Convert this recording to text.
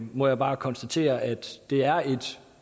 må jeg bare konstatere at det er et